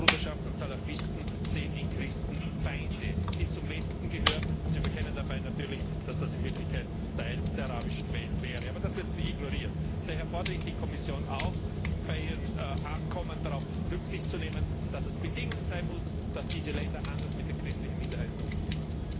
Moslembruderschaften und Salafisten sehen in Christen Feinde, die zum Westen gehören. Dabei verkennen sie natürlich, dass das in Wirklichkeit Teil der arabischen Welt wäre. Aber das wird ignoriert. Daher fordere ich die Kommission auf, bei ihren Abkommen darauf Rücksicht zu nehmen, dass es Bedingung sein muss, dass diese Länder anders mit den christlichen Minderheiten umgehen.